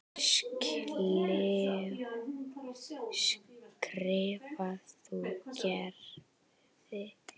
skrifar hún Gerði.